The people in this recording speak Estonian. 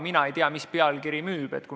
Mina ei tea, milline pealkiri müüb.